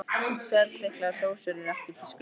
Svellþykkar sósur eru ekki í tísku lengur.